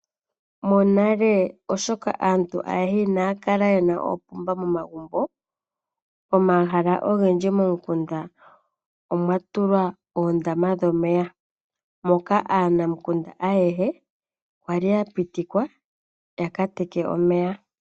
Monale oshoka aantu ayehe kaya li yena oopomba momagumbo, momahala ogendji momikunda omwa tulwa oondama dhomeya moka aanamukunda ayehe kwali ya pitikwa omo ya teke omeya.